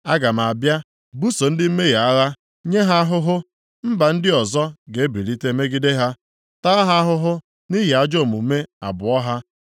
Aga m abịa buso ndị mmehie a agha, nye ya ahụhụ; mba ndị ọzọ ga-ebilite megide ha, taa ha ahụhụ nʼihi ajọ omume abụọ ha.